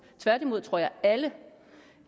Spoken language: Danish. tværtimod tror jeg at alle